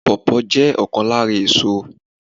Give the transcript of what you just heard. Pawpaw jé òkan lára èso